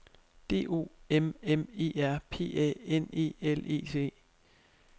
D O M M E R P A N E L E T